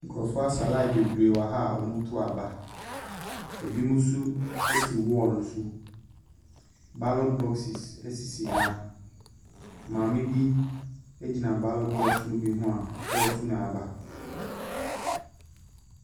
Nkurɔfo asɛ lain bebree wɔha a wɔto aba. Ebinom nso ɛte wɔlo so. Balɔt bɔses asisi ha maame bi agyina balɔt bɔs no bi ho a ɔto n'aba.